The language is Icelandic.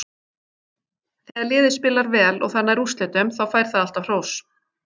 Þegar liðið spilar vel og það nær úrslitum, þá fær það alltaf hrós.